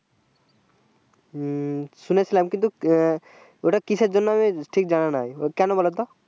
হু শুনেছিলাম কিন্তু ওটা কিসের জন্য আমার ঠিক জানা নেই কেন বোলো তো